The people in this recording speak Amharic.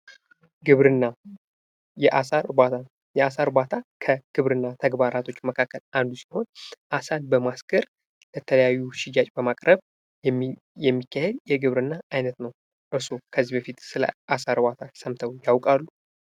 ግብርና የአሳ እርባታ የአሳ እርባታ ከግብርና ተግባራቶች መካከል አንዱ ሲሆን፤ አሳን በማስገር ለተለያዩ ሽያጭ በማቅረብ የሚካሄድ የግብርና አይነት ነው። እርስዎ ከዚህ በፊት ስለ አሳ እርባታ ሰምተው ይታወቃሉ?